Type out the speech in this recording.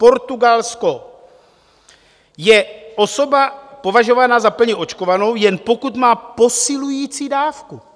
Portugalsko... je osoba považovaná za plně očkovanou, jen pokud má posilující dávku.